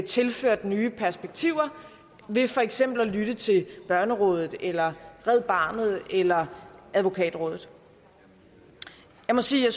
tilført nye perspektiver ved for eksempel at lytte til børnerådet eller red barnet eller advokatrådet jeg må sige at